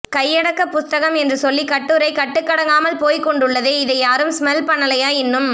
கையடக்க புஸ்தகம் என்று சொல்லி கட்டுரை கட்டுக்கடங்காமல் போய்க்கொண்டுள்ளதே இதை யாரும் ஸ்மல் பன்னைலையா இன்னும்